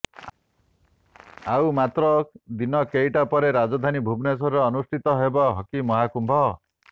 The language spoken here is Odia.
ଆଉ ମାତ୍ର ଦିନ କେଇଟା ପରେ ରାଜଧାନୀ ଭୁବନେଶ୍ୱରରେ ଅନୁଷ୍ଠିତ ହେବ ହକି ମହାକୁମ୍ଭ